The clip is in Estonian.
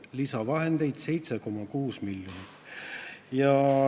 Lisaraha on 7,6 miljonit!